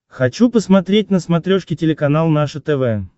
хочу посмотреть на смотрешке телеканал наше тв